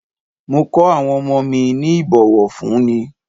Mo ko awon omo mi ni ibowofunni.